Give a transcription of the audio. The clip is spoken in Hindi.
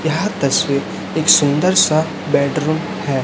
यह तस्वीर एक सुंदर सा बेडरूम है।